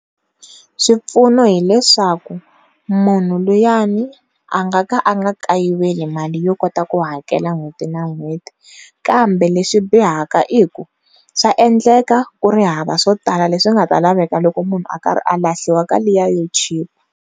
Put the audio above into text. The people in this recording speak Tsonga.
Swipfuno hileswaku munhu luyani a nga ka a a nga kayiveli mali yo kota ku hakela n'hweti na n'hweti kambe leswi bihaka hileswaku swa endleka ku ri hava swo tala leswi nga ta laveka loko munhu a karhi a lahliwa ka liya yo chipa.